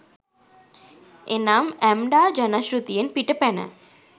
එනම් ඇම්ඩා ජනශ්‍රැතියෙන් පිට පැන